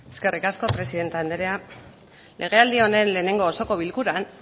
eskerrik asko presidente anderea legealdi honen lehenengo osoko bilkuran